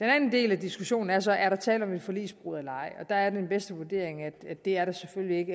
anden del af diskussionen er så om der er tale om et forligsbrud eller ej og der er min bedste vurdering at det er der selvfølgelig ikke